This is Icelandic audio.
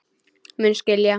Mun skilja.